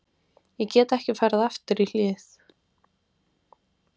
Ég get ekki farið aftur í hlið